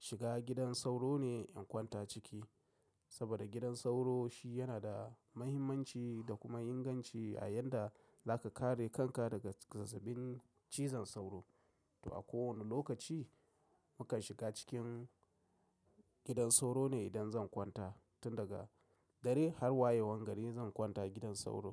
shiga gidan sauro ne in kwanta a ciki. Saboda gidan sauro shi yana da muhimmanci da kuma inganci a yanda zaka kare kanka daga zazzabin cizon sauro. Toh a kowane lokaci mukan shiga cikin gidan sauro ne idan zan kwanta tun daga dare har wayewan gari zan kwanta gidan sauro.